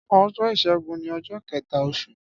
Ọjọ́ ìṣẹ́gun ni ọjọ́ kẹ̀ta oṣù.